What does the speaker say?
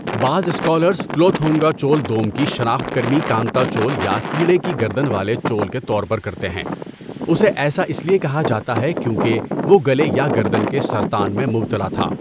بعض اسکالرز کلوتھونگا چول دوم کی شناخت کرمی کانتا چول یا کیڑے کی گردن والے چول کے طور پر کرتے ہیں، اسے ایسا اس لیے کہا جاتا ہے کیونکہ وہ گلے یا گردن کے سرطان میں مبتلا تھا۔